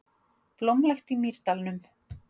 Blómlegt í Mýrdalnum